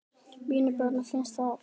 Mínum börnum finnst það betra.